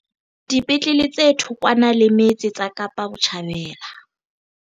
Dipetlele tse thokwana le metse tsa Kapa Botjhabela